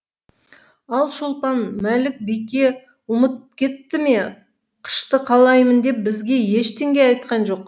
ал шолпан мәлік бике ұмытып кетті ме қышты қалаймын деп бізге ештеңе айтқан жоқ